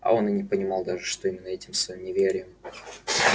а он и не понимал даже что именно этим своим неверием